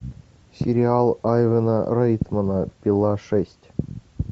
сериал айвана райтмана пила шесть